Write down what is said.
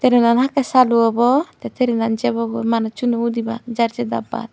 trainan hakkey salu obw tey trainan jebogoi manussuno udibak jar jei dabbat.